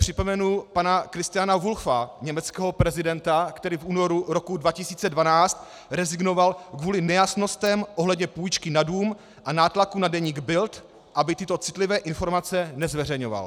Připomenu pana Christiana Wulffa, německého prezidenta, který v únoru roku 2012 rezignoval kvůli nejasnostem ohledně půjčky na dům a nátlaku na deník Bild, aby tyto citlivé informace nezveřejňoval.